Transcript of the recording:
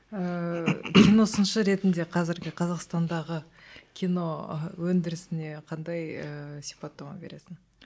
ыыы кино сыншы ретінде қазіргі қазақстандағы кино өндірісіне қандай ыыы сипаттама бересің